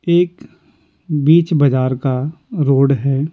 एक बीच बाजार का रोड है।